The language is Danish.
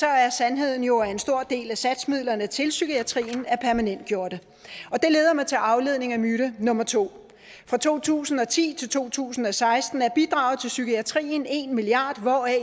er sandheden jo at en stor del af satsmidlerne til psykiatrien er permanentgjorte det leder mig til aflivning af myte nummer to fra to tusind og ti til to tusind og seksten er bidraget til psykiatrien en milliard kr